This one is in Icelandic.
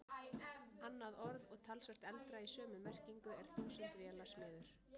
Annað orð og talsvert eldra í sömu merkingu er þúsundvélasmiður.